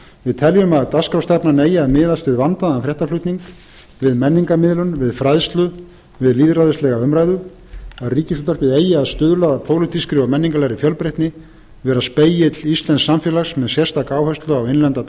við teljum að dagskrárstefnan eigi að miðast við vandaðan fréttaflutning við menningarmiðlun við fræðslu við lýðræðislega umræðu að ríkisútvarpið eigi að stuðla að pólitískri og menningarlegri fjölbreytni vera spegill íslensks samfélags með sérstaka áherslu á innlenda